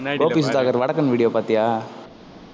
கோபி சுதாகர் வடக்கன் video பாத்தியா